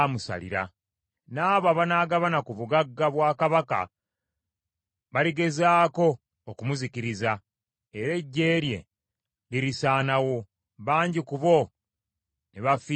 N’abo abanaagabana ku bugagga bwa kabaka baligezaako okumuzikiriza, era eggye lye lirisaanawo, bangi ku bo ne bafiira mu lutalo.